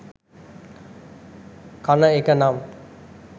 කන එක නම්